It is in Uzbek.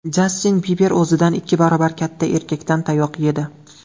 Jastin Biber o‘zidan ikki barobar katta erkakdan tayoq yedi .